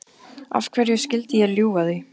Af hverju skyldi ég ljúga því?